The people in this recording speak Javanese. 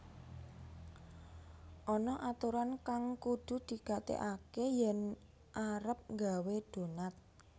Ana aturan kang kudu digatégaké yèn arep nggawé donat